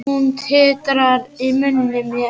Hún titrar í munni mér.